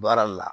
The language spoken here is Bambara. Baara la